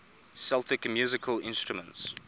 celtic musical instruments